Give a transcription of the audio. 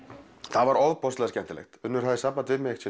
það var ofboðslega skemmtilegt Unnur hafði samband við mig